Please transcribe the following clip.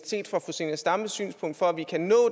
set fra fru zenia stampes synspunkt for at vi kan nå